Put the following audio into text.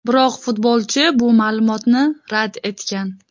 Biroq futbolchi bu ma’lumotni rad etgan.